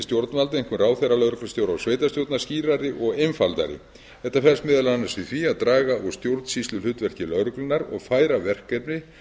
stjórnvalda einkum ráðherra lögreglustjóra og sveitarstjórna skýrari og einfaldari þetta felst meðal annars í því að draga úr stjórnsýsluhlutverki lögreglunnar og færa verkefni